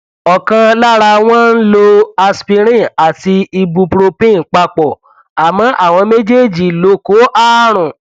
ọkan lára wọn ń lo aspirin àti ibupropin papọ àmọ àwọn méjèèjì ló kó àrùn